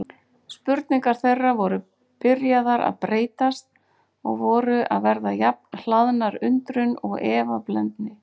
Spurningar þeirra voru byrjaðar að breytast og voru að verða jafn hlaðnar undrun og efablendni.